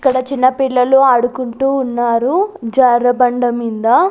ఇక్కడ చిన్న పిల్లలు ఆడుకుంటూ ఉన్నారు జారె బండ మింద.